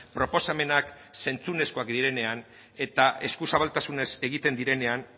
proposamenak zentzuzkoak direnean eta eskuzabaltasunez egiten direnean